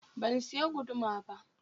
Ban siya guduma ba.